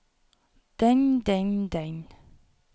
den den den